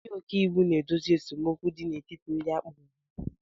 Ndị ọka iwu na-edozi esemokwu n'etiti ndị kporo ha